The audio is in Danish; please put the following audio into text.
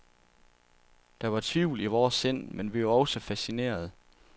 Der var tvivl i vore sind, men vi var også fascinerede.